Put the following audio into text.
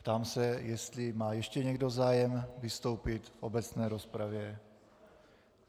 Ptám se, jestli má ještě někdo zájem vystoupit v obecné rozpravě.